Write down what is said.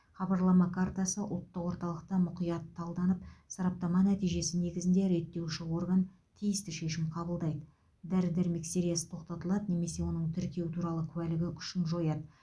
хабарлама картасы ұлттық орталықта мұқият талданып сараптама нәтижесі негізінде реттеуші орган тиісті шешім қабылдайды дәрі дәрмек сериясы тоқтатылады немесе оның тіркеу туралы куәлігі күшін жояды